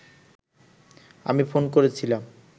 আমি ফোন করেছিলাম